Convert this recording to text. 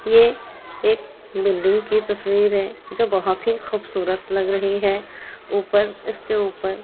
ये एक बिल्डिंग की तस्वीर है जो बहुत ही खुबसुरत लग रही है ऊपर इसके ऊपर --